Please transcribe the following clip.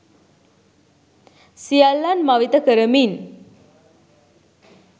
සියල්ලන් මවිත කරමින්